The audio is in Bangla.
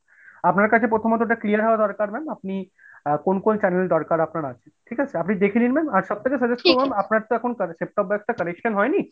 আপনার কাছে প্রথমত এটা clear হওয়া দরকার ma'am আপনি আ কোন কোন channel দরকার আপনার আছে ঠিক আছে? আপনি দেখে নিন ma'am আর সব থেকে suggest করবো আপনার তো এখন set top box টা connection হয়নি।